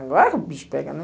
Agora que o bicho pega, né?